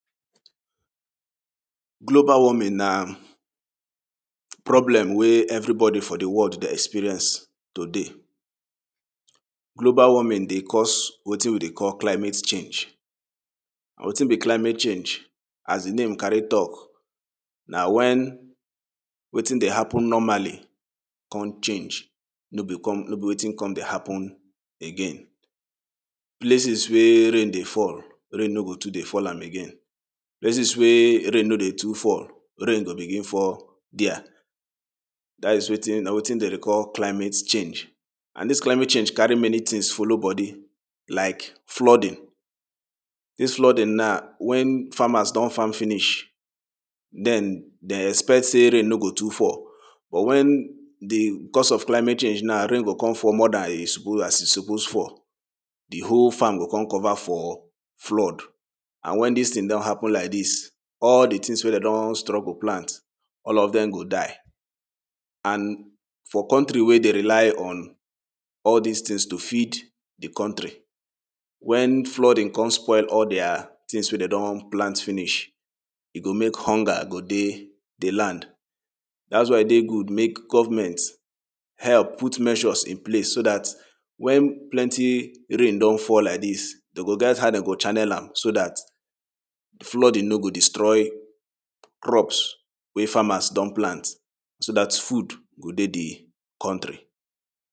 Global warming na problem wey everybody for the world dey experience today Global warming dey cause wetin we climate change wetin be climate change as the name carry talk na when wetin dey happen dey happen normally con change wetin dey happen dey happe no become no be wetin con dey happen again Places wey rain dey fall rain no go too dey fall am again places wey rain no dey too fall rain go begin fall dia dats wetin na wetin dem dey call climate change and this climate change carry many things follow body like flooding dis flooding na wen farmers don farm finish then dem expect say rain no go too fall but when the because of climate change na rain go come fall more as e suppose fall the whole farm go come cover for flood and when dis ting don happen like this all the things wey dem don struggle plant all of dem go die and for country wey dey rely on all these tings to feed the country when flooding con spoil all the tings wey dem don plant finish e go make hunger go dey the land dats why e good make government help put measures in place so that when plenty rain don fall like this dey go get how dey go channel am so that flooding no go destroy crops wey farmers don plant so that food go dey the country.